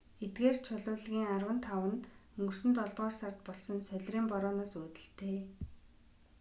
эдгээр чулуулгийн арван тав нь өнгөрсөн долдугаар сард болсон солирын борооноос үүдэлтэй